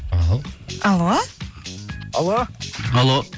ал алло алло алло